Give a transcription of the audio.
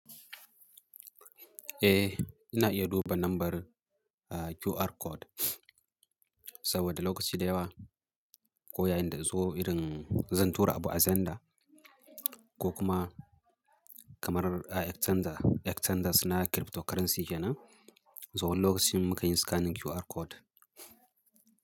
Eh, ina iya duba lambar QR code, saboda lokaci da yawa, ko yayin da zo irin zan tura abu a Zenda ko kuma kamar a Exchanger, Exchangers na cryptocurrency kenan, so wani lokacin mukan yi scanning QR code.